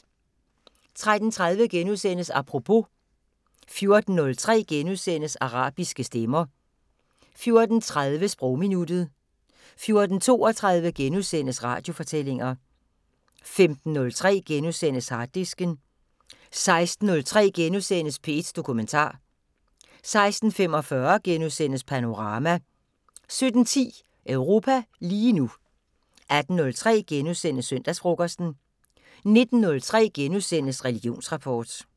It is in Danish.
13:30: Apropos * 14:03: Arabiske stemmer * 14:30: Sprogminuttet 14:32: Radiofortællinger * 15:03: Harddisken * 16:03: P1 Dokumentar * 16:45: Panorama * 17:10: Europa lige nu 18:03: Søndagsfrokosten * 19:03: Religionsrapport *